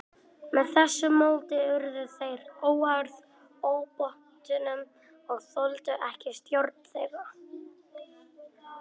Með þessu móti urðu þeir óháðir ábótunum og þoldu ekki stjórn þeirra.